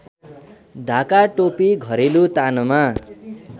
ढाकाटोपी घरेलु तानमा